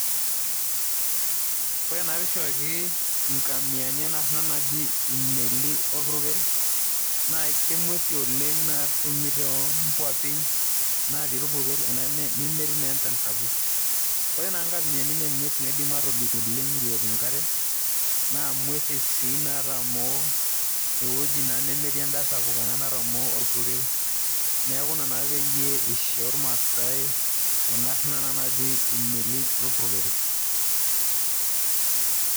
Kore naa pishooki inkamiani enaarna naji "imeli oroukel", naa ke ng'uesi oleng' natumi tonkwapi natii orpukel nemetii naa enchan sapuk. Kore naa nkamiani na ng'uesin naidim atobik oleng' eitu eok enkare, na ng'uesin si natamoo ewueji naa nemetii endaa sapuk, ashu natamoo orpukel. Neeku ina naa peyie ishoo irmaasai enaarna na naji "imeli orpukel ".